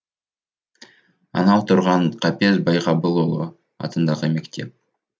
анау тұрған қапез байғабылұлы атындағы мектеп